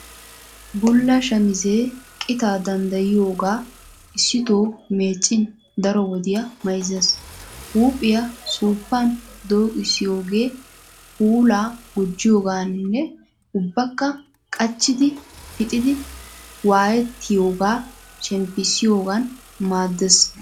Bulla shamisee qitaa danddayiyogaa issitoo meeccin daro wodiyaa mayizzes. Huuphiya suuppan dooqissiyoogee puulaa gujjiyoogaaninne ubbakka qachchiddi pixiiddi waayettiyoogaa shemppissiyoogan maaddes.